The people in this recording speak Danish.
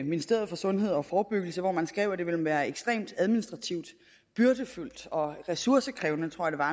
ministeriet for sundhed og forebyggelse hvor man skrev at det ville være ekstremt administrativt byrdefuldt og ressourcekrævende tror